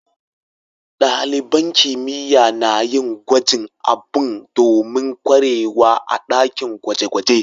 Dalibain kimiyya na yin gwajin abu domin kwarewa a'dakin gwaje-gwaje.